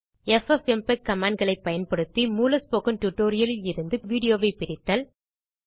FFmpeg commandகளைப் பயன்படுத்தி மூல ஸ்போக்கன் tutorialஇல் இருந்து வீடியோ பிரித்தல்